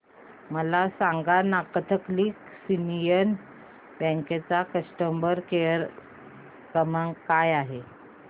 मला सांगाना Catholic Syrian Bank चा कस्टमर केअर क्रमांक काय आहे